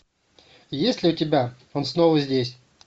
есть ли у тебя он снова здесь